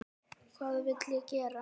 Hvað vill ég gera?